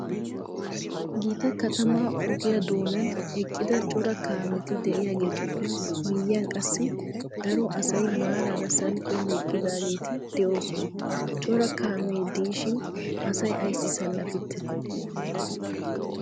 Gita katamaa ogiyaa doonaan eqqida cora kaameti de"iyaageetuppe miyiyan qassi daro asay maarara salpiyan eqqidaageeti de'oosona. Cora kaamee de"ishin asay ayssi salapettii?